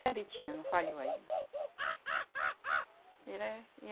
Sempre tinha, não falhou aí. Era